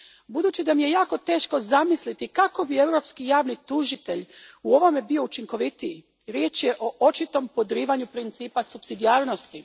Budući da mi je jako teško zamisliti kako bi Europski javni tužitelj u ovome bio učinkovitiji, riječ je o očitom podrivanju principa supsidijarnosti.